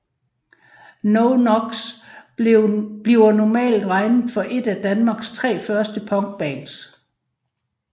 No Knox bliver normalt regnet for ét af danmarks tre første punkbands